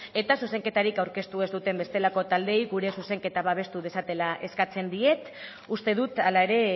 eta zuzenketarik aurkeztu ez duten bestelako taldeei gure zuzenketa babestu dezatela eskatzen diet uste dut hala ere